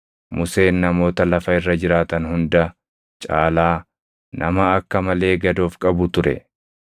Museen namoota lafa irra jiraatan hunda caalaa nama akka malee gad of qabu ture.